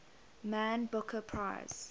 man booker prize